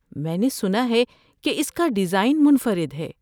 میں نے سنا ہے کہ اس کا ڈیزائن منفرد ہے۔